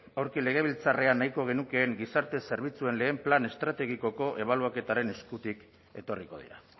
aurki legebiltzarrean nahiko genukeen gizarte zerbitzuen batgarren plan estrategikoko ebaluaketaren eskutik etorriko dira